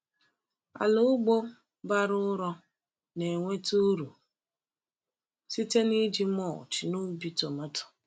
Ala ugbo bara ụrọ na-enweta uru site n’iji mulch n’ubi tomato.